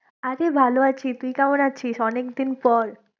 আমি ভালো আছি, তুই কেমন আছিস? অনেকদিন পর